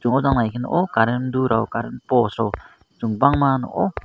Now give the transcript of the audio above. chung o jang bai ke nogo current do rok current post rok kobangma nogo.